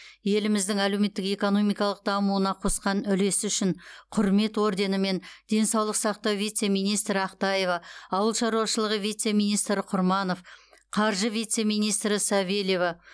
еліміздің әлеуметтік экономикалық дамуына қосқан үлесі үшін құрмет орденімен денсаулық сақтау вице министрі ақтаева ауыл шаруашылығы вице министрі құрманов қаржы вице министрі савельева